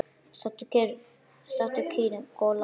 Stattu, kýrin Kolla!